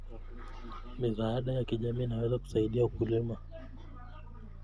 Misaada ya kijamii inaweza kusaidia wakulima.